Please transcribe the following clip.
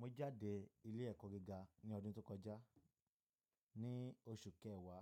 Mo jáde ilé ẹ̀kọ́ gíga ní ọdún tó kọjá, ní oṣù kẹwàá